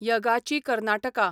यगाची Karnataka